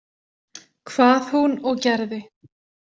Hvað hún og gerði.